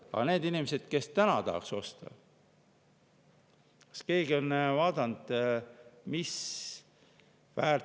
Aga neist inimestest, kes täna tahaks osta?